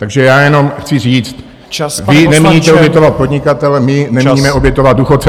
Takže já jenom chci říct : vy nemíníte obětovat podnikatele, my nemíníme obětovat důchodce.